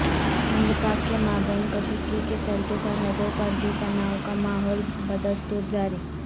ہند پاک کے مابین کشیدگی کے چلتے سرحدوں پر بھی تنائو کا ماحول بدستور جاری